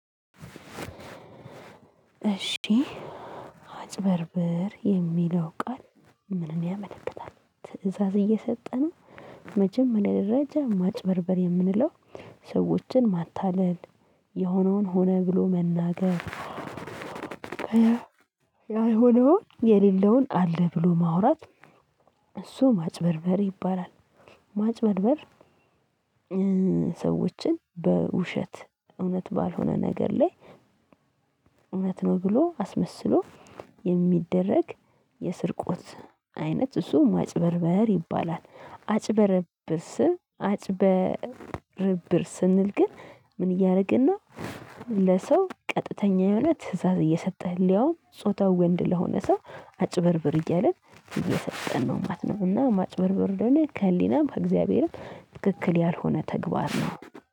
እሺ አጭበርብር የሚለው ቃል ምንን ያመለክታል ትእዛዝ እየሰጠ ነው? መጀመሪያ ደረጃ ማጭበርበር የምንለው ሰዎችን ማታለል የሆነውን ሆነ ብሎ መናገር። ያልሆነውን የሌለውን አለ ብሎ ማውራት። እሱ ማጭበርበር ይባላል። ማጭበርበር። ሰዎችን በውሸት እውነት ባልሆነ ነገር ላይ እውነት ነው ብሎ አስመስሎ የሚደረግ የስርቆት አይነት እሱ እሱም ማጭበርበር ይባላል። አጭበረብርስ አጭበረብር ስንል ግን ምን እያደረግን ነው? ለሰው ቀጥተኛ የሆነ ትእዛዝ እየሰጠህ ያውም ጾታው ወንድ ለሆነ ሰው አጭበርብር እያለ እየሰጠን ነው ማለት ነው። እና ማጭበርብር ለኔ ከህሊናም ከእግዚአብሔርም ትክክል ያልሆነ ተግባር ነው